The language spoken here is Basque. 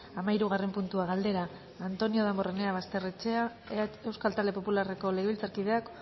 hamahirugarren puntua galdera antonio damborenea basterrechea euskal talde popularreko legebiltzarkideak